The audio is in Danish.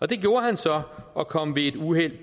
det gjorde han så og kom ved et uheld